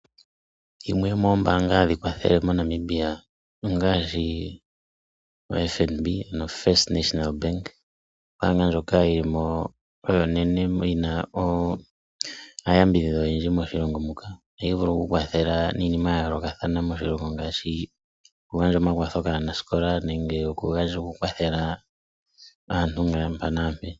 Yimwe yomoombaanga hadhi kwathele moNamibia ongaashi ombaanga yotango yopashigwana. Ombaanga ndjoka yili mo onene noyina omayambidhidho ogendji moshilongo ohayi vulu okukwathela miinima yayoolokathana moshilongo ngaashi okugandja omakwatho kaanaskola nokukwathela aantu mpa nampe.